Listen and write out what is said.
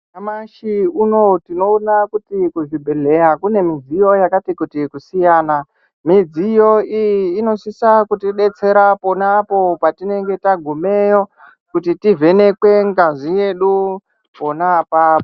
Nyamashi unowu tinoona kuti kuzbibhedhleya kune midziyo yakati kuti kusiyana. Midziyo iyi inosisa kutidetsera ponapo patinenge tagumeyo kuti tivhenekwe ngazi yedu pona apapo.